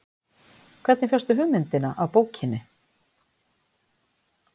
Hvernig fékkstu hugmyndina af bókinni?